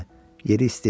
Yeri isti idi.